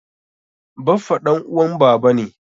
Baffa ɗan uwan baba ne.